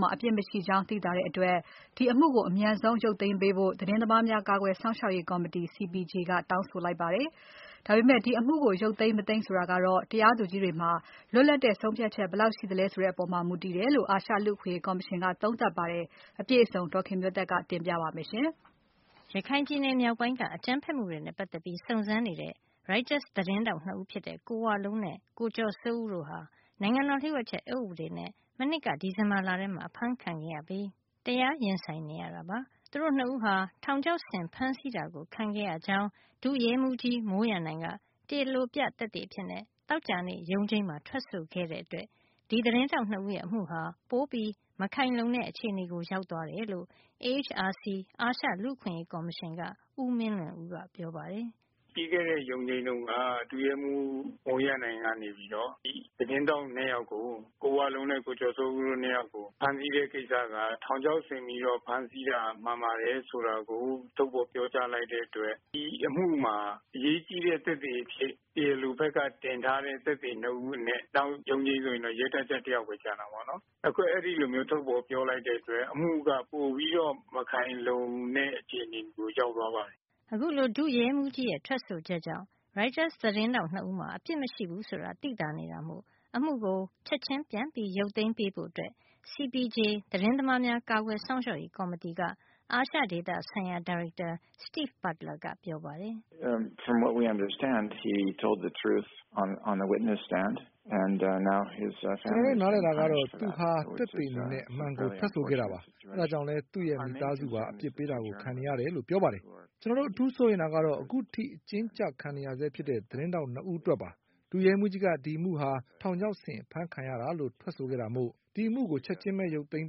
မှာ အပစ်မရှိကြောင်း သိသာတဲ့အတွက် စွဲချက်တင်ထားတဲ့ အမှုကို လုံးဝရုတ်သိမ်းသင့်ပြီလို့ CPJ သတင်းသမားများ ကာကွယ်စောင့်ရှောက်ရေး ကော်မတီက ပြောပါတယ်။ ဒီအမှုကို ရုတ်သိမ်းပေးဖို့ကတော့ တရားသူကြီးတွေပေါ်မှာပဲ မူတည်နေတယ်လို့ အာရှလူ့အခွင့်ရေးကော်မရှင်က သုံးသပ်ပါတယ်။ အပြည့်အစုံကို ဒေါ်ခင်မျိုးသက်က ပြောပြပေးမှာပါ။ ရခိုင်ပြည်နယ်မြောက်ပိုင်းက အကြမ်းဖက်မှုတွေနဲ့ ပတ်သက်ပြီးစုံစမ်းနေတဲ့ ရိုက်တာသတင်းထောက် နှစ်ဦးဖြစ်တဲ့ ကိုဝလုံးနဲ့ ကိုကျော်စိုးဦးတို့ဟာ နိုင်ငံတော်လျှို့ဝှက်ချက်အက်ဥပဒေနဲ့ မနှစ်က ဒီဇင်ဘာလထဲမှာ အဖမ်းဆီးခံရပြီး တရားရင်ဆိုင်နေရတာပါ။ သူတို့ နှစ်ဦးဟာ ထောင်ချောက်ဆင်ဖမ်းဆီးတာ ခံရကြောင်း ဒုရဲမှုး မိုးရန်နိုင်က တရားလိုပြ သက်သေအဖြစ် သောကြာနေ့ ရုံးချိန်းမှာ ထွက်ဆိုခဲ့တဲ့အတွက် ဒီသတင်းထောက်နှစ်ဦးရဲ့ အမှုဟာ ပိုပြီးမခိုင်လုံတဲ့ အခြေနေရောက်သွားတယ်လို့ AHRC အာရှလူ့အခွင့်ရေး ကော်မရှင်က ဦးမင်းလွင်ဦးက ပြောပါတယ်။ “ ပြီးခဲ့တဲ့ ရုံးချိန်းတုန်းက ဒုရဲမှူး မိုးရန်နိုင်ကနေပြီးတော့ သတင်းထောက် ၂ ယောက်ကို ကိုဝလုံးနဲ့ ကိုကျော်စိုးဦးတို့ ၂ ယောက်ကို ဖမ်းဆီးတဲ့ ကိစ္စက ထောင်ချောက်ဆင်ပြီးတော့ ဖမ်းဆီးတာ မှန်ပါတယ် ဆိုတာကို ထုတ်ဖော် ပြောကြားလိုက်တဲ့ အတွက် ဒီအမှုမှာ အရေးကြီးတဲ့ သက်သေ အဖြစ် တရားလိုဘက်က တင်ထားတဲ့ သက်သေ ၂ ဦး အနက် နောက်ရုံးချိန်းဆိုရင် ရဲတပ်ကြပ် တယောက်ဘဲ ကျန်တာပေါ့နော်။ အခု အဲဒီလိုမျိုး ထုတ်ဖော် ပြောလိုက်တဲ့ အတွက် အမှုက ပိုပြီးတော့ မခိုင်လုံတဲ့ အခြေအနေကို ရောက်သွားပါတယ်။ ” အခုလို ဒုရဲမှုးရဲ့ ထွက်ဆိုချက်ကြောင့် ရိုက်တာသတင်းထောက် ၂ ဦးမှာ အပစ်မရှိဘူး ဆိုတာ သိသာနေတာမို့ အမှုကို ချက်ချင်း ပြန်ရုတ်သိမ်းပေးဖို့ CPJ သတင်းသမားများ ကာကွယ်စောင့်ရှောက်ရေး ကော်မတီက အာရှဒေသဆိုင်ရာ ဒါရိုက်တာ Steve Butler ပြောပါတယ်။ “ကျွန်တော်တို့ နားလည်တာကတော့ သူဟာသက်သေအနေနဲ့ အမှန်ကို ထွက်ဆိုခဲ့တာပါ။ ဒါကြောင့်လည်း သူ့မိသားစုပါ အပြစ်ပေးတာကို ခံနေရတယ်လို့ ပြောပါတယ်။ ကျွန်တော်တို့ အထူးစိုးရိမ်တာကတော့ အခုထိ အကျဉ်းကျ ခံနေရဆဲဖြစ်တဲ့ သတင်းထောက် ၂ ယောက်အတွက်ပါ။ ဒုရဲမှုးကြီးက ဒီအမှုဟာ ထောင်ချောက်ဆင်အဖမ်းခံရတာလို့ ထွက်ဆိုခဲ့တာမို့ ဒီအမှုကို ချက်ချင်းပဲ ရုတ်သိမ်း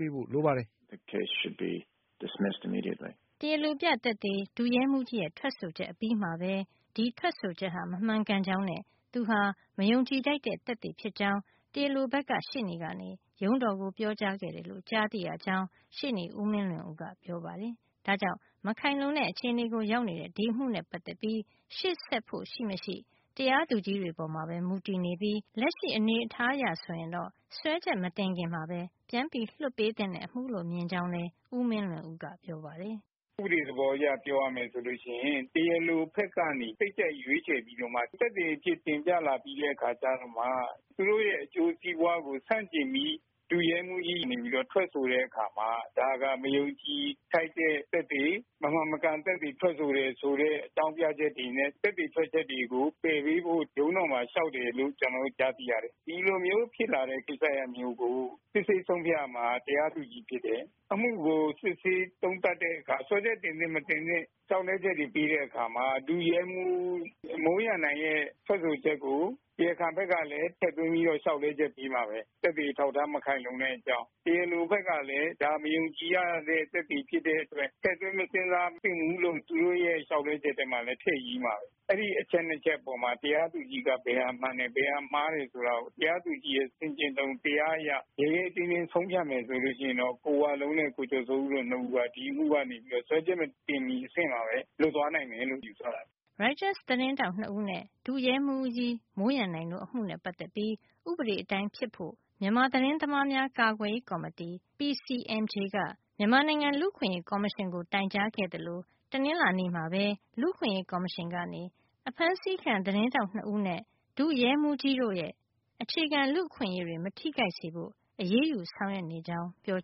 ပေးဖို့ လိုပါတယ်” တရားလိုပြသက်သေ ဒုရဲမှုးရဲ့ထွက်ဆိုချက်အပြီးမှာပဲ ဒီထွက်ဆိုချက်ဟာ မမှန်ကန်ကြောင်းနဲ့ သူဟာ မယုံကြည်ထိုက်တဲ့ သက်သေ ဖြစ်ကြောင်း တရားလိုဘက်က ရှေ့နေကရုံးတော်ကို ပြောကြားခဲ့တယ်လို့ ကြားသိရကြောင်း ရှေ့နေ ဦးမင်းလွင်ဦးက ပြောပါတယ်။ဒါကြောင့် မခိုင်လုံတဲ့ အခြေနေရောက်နေတဲ့ ဒီအမှုနဲ့ ပတ်သက်ပြီး ရှေ့ဆက်ဖို့ရှိမရှိ တရားသူကြီးတွေပေါ်မှာပဲ မူတည်နေပြီး လက်ရှိအနေထားအရ ဆိုရင်တော့ စွဲချက်မတင်ခင်မှာပဲ လွှတ်ပေးသင့်တဲ့ အမှုလို့မြင်ကြောင်းလည်း ဦးမင်းလွင်ဦးက ပြောပါတယ်။ “ ဥပဒေ သဘောအရ ပြောရမယ်ဆိုလို့ ရှိရင် တရားလို ဘက်ကနေ စိတ်ကြိုက်ရွေးချယ်ပြီးတော့မှ သက်သေ အဖြစ် တင်ပြလာပြီးတော့မှ သူတို့ရဲ့ အကျိုးစီးပွားကို ဆန့်ကျင်ပြီး ဒုရဲမှူးကြီးက နေပြီး ထွက်ဆိုတဲ့ အခါမှာ ဒါက မယုံကြည်ထိုက်တဲ့ သက်သေ မမှန်မကန် သက်သေ ထွက်ဆိုတဲ့ အကြောင်းပြချက်တွေနဲ့ သက်သေထွက်ချက်တွေကို ပယ်ပေးဖို့ ရုံးတော်မှာ လေ ျှာက်တယ်လို့ ကျနော်တို့ ကြားသိရတယ်။ ဒီလိုမျိုး ဖြစ်လာတဲ့ ကိစ္စရပ်မျိုးကို စစ်ဆေးဆုံးဖြတ်ရမှာက တရားသူကြီး ဖြစ်တယ်။ အမှုကို စစ်ဆေးသုံးသပ်တဲ့ အခါ စွဲချက် တင်သင့်မတင်သင့် လေ ျှာက်လဲချက်တွေ ပေးတဲ့ အခါမှာ ဒုရဲမှူး မိုးရန်နိုင်ရဲ့ ထွက်ဆိုချက်ကို တရားခံဘက်ကလည်း ထည့်သွင်းပြီးတော့ လေ ျှာက်လဲချက် ပေးမှာဘဲ။ သက်သေအထောက်အထား မခိုင်လုံတဲ့ အကြောင်း တရားလို ဘက်ကလည်း ဒါ မယုံကြည်ရတဲ့ သက်သေ ဖြစ်တဲ့ အတွက် ထည့်သွင်း မစဉ်းစားသင့်ဘူးလို့ သူတို့ရဲ့ လေ ျှာက်လဲချက်ထဲမှာလည်း ထည့်ရေးမှာဘဲ။ အဲဒီ အချက် နှစ်ချက်ထဲမှာ တရားသူကြီးက ဘယ်ဟာမှန်တယ် ဘယ်ဟာမှားတယ်ဆိုတာကို တရားသူကြီးရဲ့ ဆင်ခြင်တုံ တရားအရ ရဲရဲတင်းတင်း ဆုံးဖြတ်မယ် ဆိုရင်တော့ ကိုဝလုံးနဲ့ ကိုကျော်စိုးဦးတို့ နှစ်ဦးက ဒီအမှု စွဲချက် မတင်မီ အဆင့်မှာဘဲ လွတ်သွားနိုင်တယ်လို့ ယူဆရတယ်။ ” ရိုက်တာ သတင်းထောက်နှစ်ဦးနဲ့ ဒုရဲမှူး မိုးရန်နိုင်တို့ အမှုနဲ့ပတ်သတ်ပြီး ဥပဒေအတိုင်းဖြစ်ဖို့ မြန်မာ သတင်းသမားများ ကာကွယ်ရေး ကော်မတီ PCMJ က မြန်မာနိုင်ငံ လူ့အခွင့်အရေး ကော်မရှင်ကို တိုင်ကြားခဲ့သလို တနင်္လာနေ့မှာပဲ လူ့အခွင့်ရေးကော်မရှင်က အဖမ်းဆီးခံ သတင်းထောက် ၂ ဦးနဲ့ ဒုရဲမှုးကြီးတို့ အခြေခံလူ့အခွင့်ရေးတွေ မထိခိုက်စေဖို့ အရးယူဆောင်ရွက်နေကြောင်း ပြော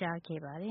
ကြားခဲ့ပါတယ်